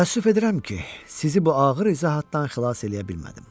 Təəssüf edirəm ki, sizi bu ağır izahatdan xilas eləyə bilmədim.